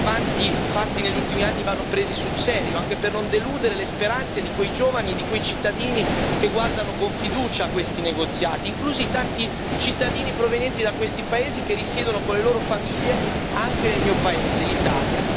I passi avanti fatti negli ultimi anni vanno presi sul serio, anche per non deludere le speranze di quei giovani e di quei cittadini che guardano con fiducia a questi negoziati, inclusi tanti cittadini provenienti da questi paesi che risiedono con le loro famiglie anche nel mio paese, l'Italia.